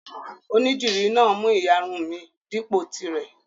Onídìrí náà mú ìyarun mi dípò tirẹ̀.